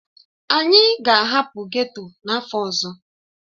Anyị ga-ahapụ ghetto n'afọ ọzọ.